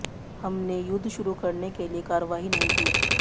हमने युद्ध शुरू करने के लिए कार्रवाई नहीं की